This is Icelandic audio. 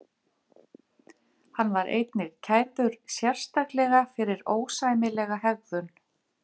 Hann var einnig kærður sérstaklega fyrir ósæmilega hegðun.